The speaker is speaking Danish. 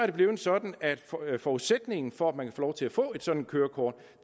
er blevet sådan at forudsætningen for at man kan få lov til at få et sådant kørekort